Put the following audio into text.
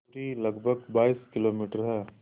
दूरी लगभग बाईस किलोमीटर है